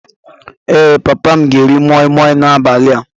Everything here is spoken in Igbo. Ee, papa m ga-eri moi Moi n'abalị a